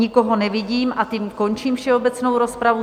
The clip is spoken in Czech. Nikoho nevidím a tím končím všeobecnou rozpravu.